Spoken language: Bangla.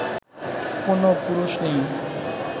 কোনও পুরুষ নেই